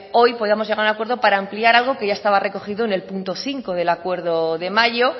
hoy podamos llegar a un acuerdo para ampliar algo que ya estaba recogido en el punto cinco del acuerdo de mayo